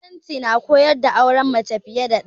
Musulunci na koyar da auren mace fiye da ɗaya.